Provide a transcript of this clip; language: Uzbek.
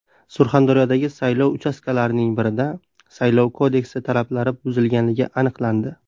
Surxondaryodagi saylov uchastkalarining birida Saylov kodeksi talablari buzilgani aniqlandi.